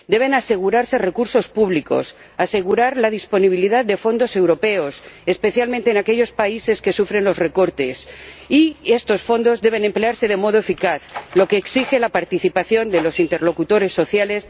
Deben asegurarse recursos públicos, asegurar la disponibilidad de fondos europeos, especialmente en aquellos países que sufren los recortes, y estos fondos deben emplearse de modo eficaz, lo que exige la participación de los interlocutores sociales...